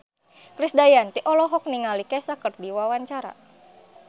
Krisdayanti olohok ningali Kesha keur diwawancara